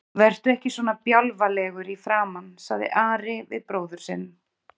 Vertu ekki svona bjálfalegur í framan, sagði Ari við bróður sinn.